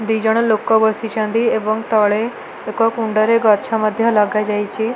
ଦିଜଣ ଲୋକ ବସିଛନ୍ତି। ଏବଂ ତଳେ ଏକ କୁଣ୍ଡରେ ଗଛ ମଧ୍ଯ ଲାଗିଯାଇଚି।